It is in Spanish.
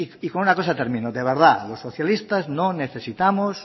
y con una cosa termino de verdad los socialistas no necesitamos